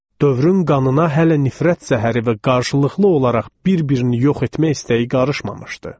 Dövrün qanına hələ nifrət zəhəri və qarşılıqlı olaraq bir-birini yox etmək istəyi qarışmamışdı.